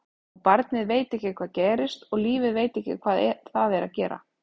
Og barnið veit ekki hvað gerist og lífið veit ekki hvað það er að gera.